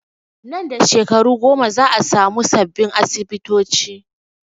Nan da shekaru goma za a samu sabbin asibitoci